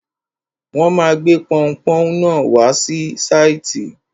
Wọ́n ma gbé pọunpọ́ún náà wá sí sáìtì.